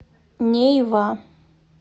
нейва